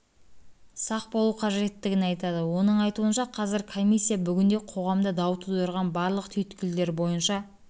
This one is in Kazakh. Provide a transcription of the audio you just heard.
сақ болу қажеттігін айтады оның айтуынша қазір комиссия бүгінде қоғамда дау тудырған барлық түйткілдер бойынша